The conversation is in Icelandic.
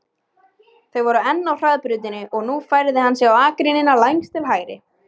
Þau voru enn á hraðbrautinni og nú færði hann sig á akreinina lengst til hægri.